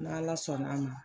N' ala sɔnn'a ma